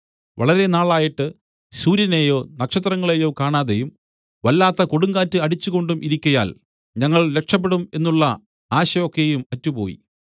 വളരെ നാളായിട്ട് സൂര്യനെയോ നക്ഷത്രങ്ങളെയോ കാണാതെയും വല്ലാത്ത കൊടുങ്കാറ്റ് അടിച്ചുകൊണ്ടും ഇരിക്കയാൽ ഞങ്ങൾ രക്ഷപെടും എന്നുള്ള ആശ ഒക്കെയും അറ്റുപോയി